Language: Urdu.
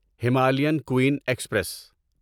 Himalayan queen express